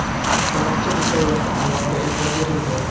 Barcha detallarga alohida e’tibor berildi.